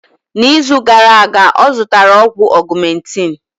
N'izu gara aga ọ zụtara ọgwụ augmentin